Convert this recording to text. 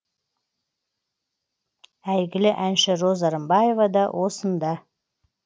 әйгілі әнші роза рымбаева да осында